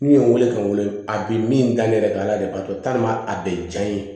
N'u ye n wele ka n wele a bi min da ale ka ala de b'a to a bɛ janya n ye